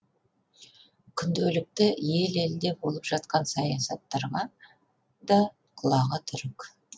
күнделікті ел елде болып жатқан саясаттарға да құлағы түрік